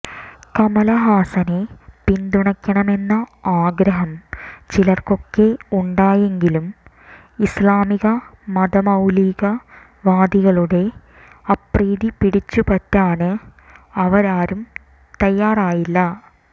കമലഹാസനെ പിന്തുണക്കണമെന്ന ആഗ്രഹം ചിലര്ക്കൊക്കെ ഉണ്ടായെങ്കിലും ഇസ്ലാമിക മതമൌലികവാദികളുടെ അപ്രീതി പിടിച്ചുപറ്റാന് അവരാരും തയ്യാറായില്ല